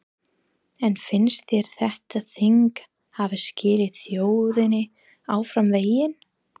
En finnst þér þetta þing hafa skilað þjóðinni áfram veginn?